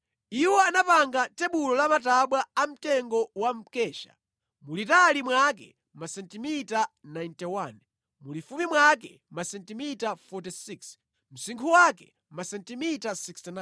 Iwo anapanga tebulo la matabwa amtengo wa mkesha, mulitali mwake masentimita 91, mulifupi mwake masentimita 46, msinkhu wake masentimita 69.